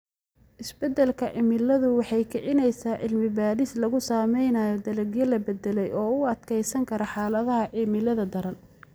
Isbeddelka cimiladu waxay kicinaysaa cilmi-baadhis lagu samaynayo dalagyo la beddelay oo u adkeysan kara xaaladaha cimilada daran.